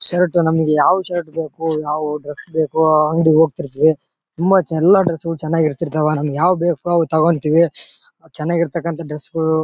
shirt ನಮಿಗ್ ಯಾವ shirt ಬೇಕು ಯಾವ್ ಡ್ರೆಸ್ ಬೇಕೋ ಆ ಅಂಗಡಿ ಗೆ ಹೋಗತಿರ್ತಿವಿ ತುಂಬಾ ಎಲ್ಲಾ ಡ್ರೆಸ್ ಚನಾಗ್ ಇರ್ತಿರ್ತಾವ ನಮಿಗೆ ಯಾವುದು ಬೇಕು ಅದು ತಗೋತಿರ್ತಿವಿ ಚನಾಗ್ ಇರ್ತಕಂತ ಡ್ರೆಸ್ಸು --